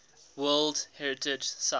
world heritage sites